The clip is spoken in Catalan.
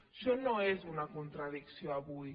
això no és una contradicció avui